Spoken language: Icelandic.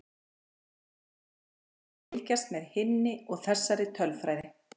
Gaman getur verið að fylgjast með hinni og þessari tölfræði.